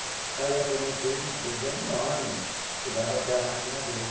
Saía pela empresa, empresa enorme, chegava até a máquina dele.